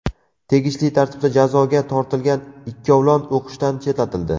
Tegishli tartibda jazoga tortilgan ikkovlon o‘qishdan chetlatildi.